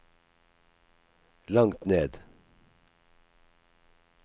langt ned